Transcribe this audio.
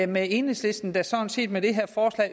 med enhedslisten der sådan set